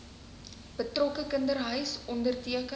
betrokke kinderhuis onderteken